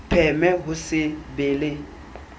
pheme ho se be le